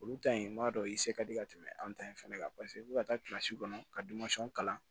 Olu ta in n b'a dɔn i se ka di ka tɛmɛ an ta in fana kan paseke u bɛ ka taa kɔnɔ ka kalan